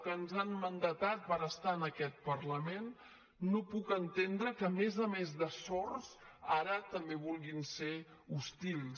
que ens han mandatat per estar en aquest parlament no puc entendre que a més a més de sords ara també vulguin ser hostils